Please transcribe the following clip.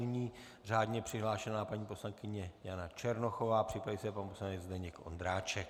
Nyní řádně přihlášená paní poslankyně Jana Černochová, připraví se pan poslanec Zdeněk Ondráček.